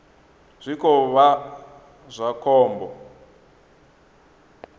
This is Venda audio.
zwi khou vha zwa khombo